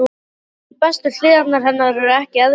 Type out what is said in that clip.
En jafnvel bestu hliðar hennar eru ekki eðlilegar.